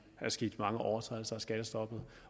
er sket mange overtrædelser af skattestoppet